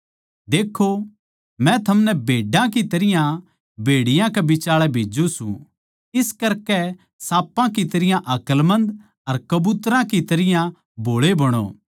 देक्खो मै थमनै भेड्डां की तरियां भेड़ियाँ के बिचाल्ये भेज्जू सूं इस करकै साँपां की तरियां अकलमंद अर कबूतरां की तरियां भोळे बणो